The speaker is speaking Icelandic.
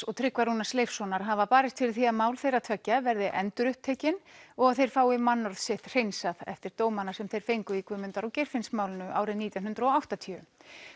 og Tryggva Rúnars Leifssonar hafa barist fyrir því að mál þeirra tveggja verði endurupptekin og að þeir fái mannorð sitt hreinsað eftir dómana sem þeir fengu í Guðmundar og Geirfinnsmálinu árið nítján hundruð og áttatíu